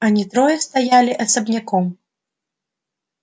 они трое стояли особняком